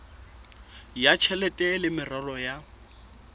ya tjhelete le meralo ya